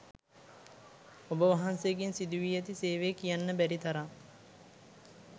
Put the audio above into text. ඔබ වහන්සේගෙන් සිදුවී ඇති සේවය කියන්න බැරිතරම්.